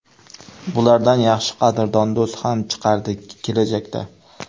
Bulardan yaxshi qadrdon do‘st ham chiqardi kelajakda.